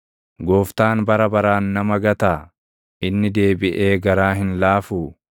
“Gooftaan bara baraan nama gataa? Inni deebiʼee garaa hin laafuu?